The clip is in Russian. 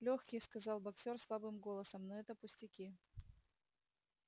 лёгкие сказал боксёр слабым голосом но это пустяки